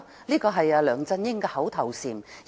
這是梁振英的口頭禪。